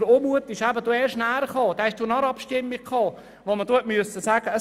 Und der Unmut entstand nach der Abstimmung, als man ihm sagen musste: